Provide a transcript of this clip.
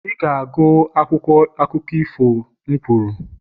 Ị ga-agụ akwụkwọ akụkọ ifo a m kwuru!